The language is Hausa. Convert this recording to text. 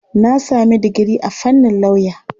Na sami digiri a fannin lauya.